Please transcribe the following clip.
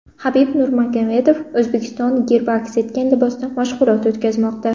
Habib Nurmagomedov O‘zbekiston gerbi aks etgan libosda mashg‘ulot o‘tkazmoqda .